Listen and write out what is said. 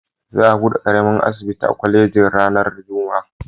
Za a buɗe ƙaramin asibitin kwalejin ranar Juma'a.